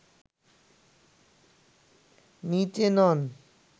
নিচে নন